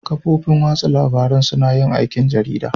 Kafofin watsa labarun suna yin aikin jarida